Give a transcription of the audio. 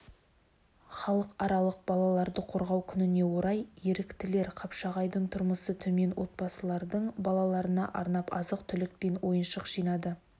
халықаралық балаларды қорғау күніне орай еріктілер қапшағайдың тұрмысы төмен отбасыларының балаларына арнап азық-түлік пен ойыншық жинады